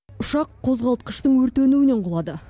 ұшақ қозғалтқыштың өртенуінен құлады